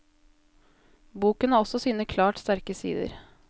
Boken har også sine klart sterke sider.